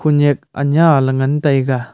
khunyak anya ley ngan taiga.